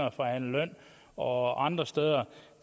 at forhandle løn og andre steder